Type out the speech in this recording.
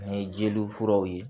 Ni jeliw furaw ye